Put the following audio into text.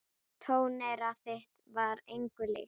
Tóneyra þitt var engu líkt.